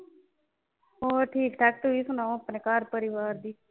ਹੋਰ ਠੀਕ ਠਾਕ ਤੁਸੀਂ ਸੁਣਾਓ ਆਪਣੇ ਘਰ ਪਰਿਵਾਰ ਦੀ।